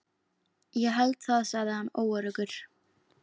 Ég held það sagði hann óöruggur.